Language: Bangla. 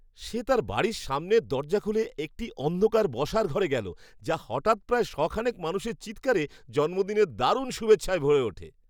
সে তার বাড়ির সামনের দরজা খুলে একটি অন্ধকার বসার ঘরে গেল যা হঠাৎ, প্রায় শ'খানেক মানুষের চিৎকারে জন্মদিনের দারুণ শুভেচ্ছায় ভরে ওঠে!